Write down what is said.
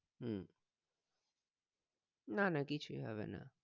উম না না কিছুই হবে না